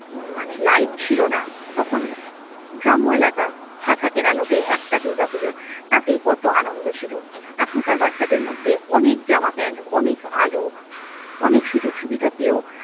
উম মানে light ছিল না। তখন গ্রাম্য এলাকা। হ্যাজাকের আলোতে একটা দুর্গা পুজো। তাতেই কত আনন্দ ছিল। এখনকার বাচ্ছাদের মধ্যে অনেক জামা প্যান্ট, অনেক আলো, অনেক সুযোগ সুবিধা পেয়েও।